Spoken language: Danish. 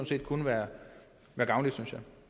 set kun være gavnligt synes jeg og